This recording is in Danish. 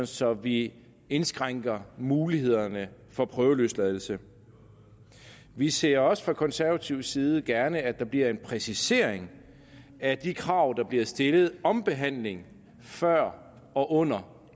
så vi indskrænker mulighederne for prøveløsladelse vi ser også fra konservativ side gerne at der bliver en præcisering af de krav der bliver stillet om behandling før og under